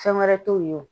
Fɛn wɛrɛ t'u ye o